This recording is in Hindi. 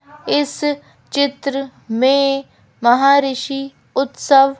इस चित्र में महाऋषि उत्सव--